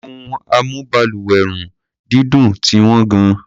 Ohun amúbalùwẹ̀-run-dídùn ti wọ́n gan-an.